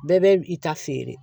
Bɛɛ bɛ i ta feere